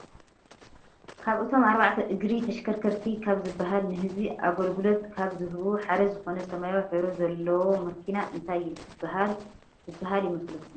ካብ እቶም ኣርባዕተ እግሪ ተሽከርከርቲ ካብ ዝብሃል ንህዝቢ ኣገልግሎለት ካብ ዝህቡ ሓደ ዝኮነ ሰማያዊ ሕብሪ ዘለዎ መኪና እንታይ ዝበሃል ይመስለኩም?